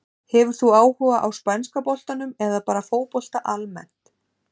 Hefur þú áhuga á spænska boltanum eða bara fótbolta almennt?